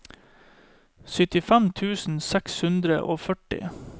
syttifem tusen seks hundre og førti